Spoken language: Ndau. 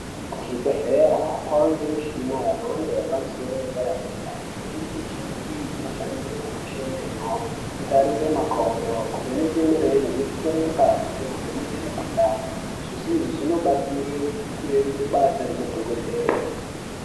Kuzvibhedhlera kwavanemishina yepamusoro yemhando yedera dera. Imweni yemishina iyi inoshandiswa kukwesha meno, kutarire makodo, kuvheneke mirenje, kutore ngazi nekuveneke mikhuhlani. Zveshe izvi zvinobatsire kureruse basa remadhokodheya.